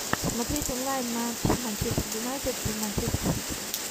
смотреть онлайн матч манчестер юнайтед манчестер сити